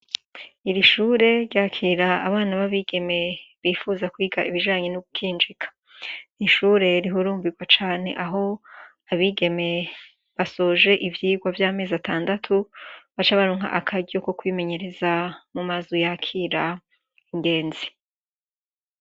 Ishure ryakira abana bab'igeme bipfuza kwiga ibiganye n'ugukinjika. N'ishure rihurumbirwa cane ah'abigeme basoje ivyirwa vyamezi atandatu baca baronka akaryo ko kwimenyereza mu mazu yakira ingenzi.